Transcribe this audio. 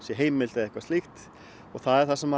heimilt eða eitthvað slíkt og það er það sem